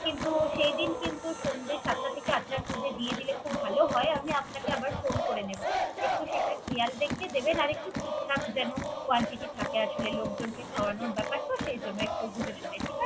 কিন্তু সেই দিন কিন্ত সন্ধ্যা সাতটা থেকে আটটার দিকে দিলে ভালো হয়। আমি আপনাকে আবার phone করে নিবো। একটু সেটা খেয়াল রেখে দিবেন। আর একটু ঠিক ঠাক যেন quantity টা থাকে।